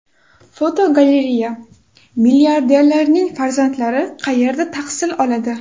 Fotogalereya: Milliarderlarning farzandlari qayerda tahsil oladi?.